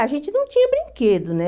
A gente não tinha brinquedo, né?